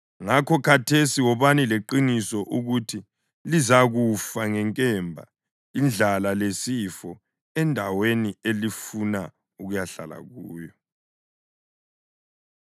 Ngakho khathesi wobani leqiniso ukuthi lizakufa ngenkemba, indlala lesifo endaweni elifuna ukuyahlala kuyo.”